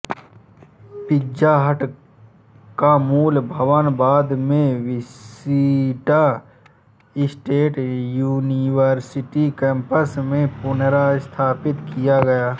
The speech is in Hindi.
पिज़्ज़ा हट का मूल भवन बाद में विशिटा स्टेट युनिवर्सिटी कैम्पस में पुनर्स्थापित किया गया